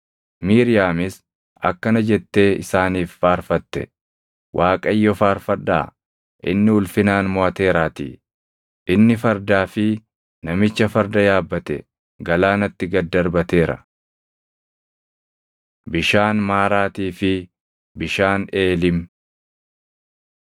Miiriyaamis akkana jettee isaaniif faarfatte: “ Waaqayyo faarfadhaa; inni ulfinaan moʼateeraatii. Inni fardaa fi namicha farda yaabbate galaanatti gad darbateera.” Bishaan Maaraatii fi Bishaan Eelim